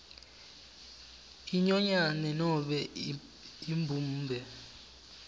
inyonyane nobe imbumbe